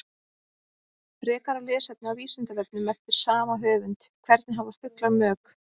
Frekara lesefni á Vísindavefnum eftir sama höfund: Hvernig hafa fuglar mök?